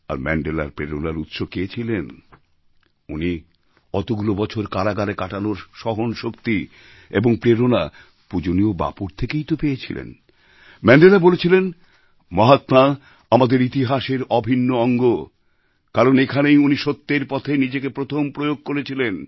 আর ম্যান্ডেলার প্রেরণার উৎস কে ছিলেন তিনি অতগুলো বছর কারাগারে কাটানোর সহন শক্তি এবং প্রেরণা পূজনীয় বাপুর থেকেই তো পেয়ে ছিলেন ম্যান্ডেলা বলেছিলেন মহাত্মা আমাদের ইতিহাসের অভিন্ন অঙ্গ কারণ এখানেই উনি সত্যের পথে নিজেকে প্রথম প্রয়োগ করেছিলেন